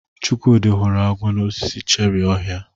Chukwudi hụrụ agwo n'osisi cherrị ohia.